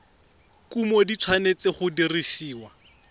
kumo di tshwanetse go dirisiwa